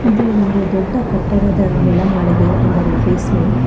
ಇದು ಒಂದು ದೊಡ್ಡ ಕಟ್ಟಡದ ನೆಲಮಾಳಿಗೆ ಅಂದರೆ ಬೇಸ್ಮೆಂಟ್ .